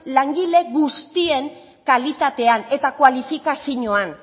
langile guztien kalitatean eta kualifikazioan